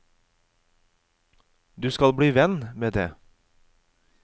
Du skal bli venn med det.